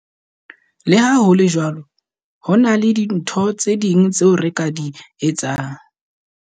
Le ha ho le jwalo, ho na le dintho tse ding tseo re ka di etsang.